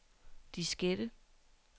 diskette